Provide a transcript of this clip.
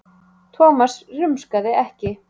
Thomas rumskaði ekki.